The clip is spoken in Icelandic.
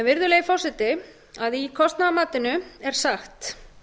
virðulegi forseti í kostnaðarmatinu er sagt